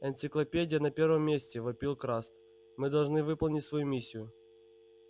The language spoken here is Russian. энциклопедия на первом месте вопил краст мы должны выполнить свою миссию